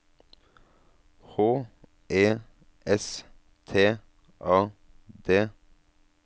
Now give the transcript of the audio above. H E S T A D